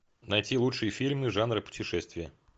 найти лучшие фильмы жанра путешествия